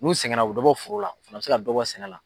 N'u sɛgɛnna u bɛ dɔ bɔ foro la, u fɛnɛ bɛ se ka dɔ bɔ sɛnɛ la.